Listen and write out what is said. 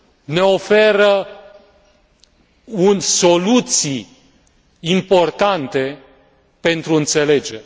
ne oferă soluții importante pentru înțelegere.